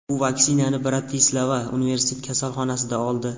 U vaksinani Bratislava universitet kasalxonasida oldi.